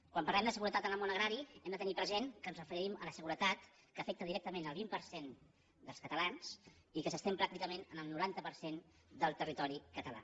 quan parlem de seguretat en el món agrari hem de tenir present que ens referim a la seguretat que afecta directament el vint per cent dels catalans i que s’estén pràcticament en el noranta per cent del territori català